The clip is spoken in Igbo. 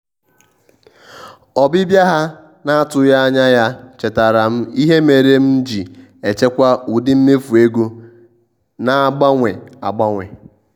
ọbịbịa ha na-atụghị anya ya chetaara m ihe mere m ji echekwa ụdị mmefu ego na-agbanwe agbanwe